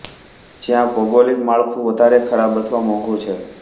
જ્યાં ભોગોલીક માળખું વધારે ખરાબ અથવા મોઘું છે